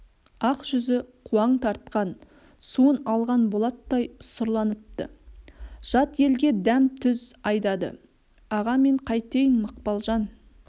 ақ жүзі қуаң тартқан суын алған болаттай сұрланыпты жат елге дәм-тұз айдады аға мен қайтейін мақпалжан